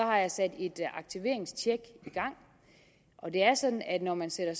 har jeg sat et aktiveringstjek i gang og det er sådan at når man sætter